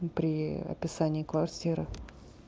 и при описании квартиры